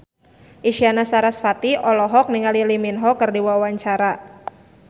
Isyana Sarasvati olohok ningali Lee Min Ho keur diwawancara